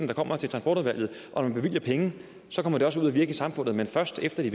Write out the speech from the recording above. der kommer til transportudvalget og når man bevilger penge kommer de også ud at virke i samfundet men først efter de